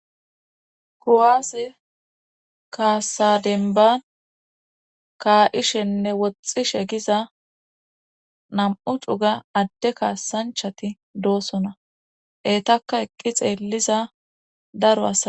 kuwaase kaasadenban kaa7ishenne woxxishe giza nam7u xuga adde kaassanchati doosona eetaka eqqi xeelliza daro asa..